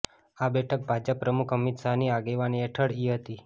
આ બેઠક ભાજપ પ્રમુખ અમિત શાહની આગેવાની હેઠળ ઈ હતી